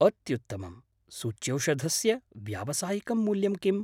अत्युत्तमम्। सूच्यौषधस्य व्यावसायिकं मूल्यं किम्?